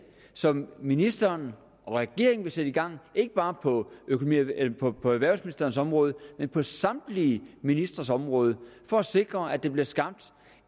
som ministeren og regeringen vil sætte i gang ikke bare på erhvervsministerens område men på samtlige ministres områder for at sikre at der bliver skabt